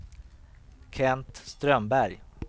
Kent Strömberg